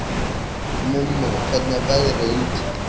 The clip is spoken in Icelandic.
Mummi, hvernig er veðrið úti?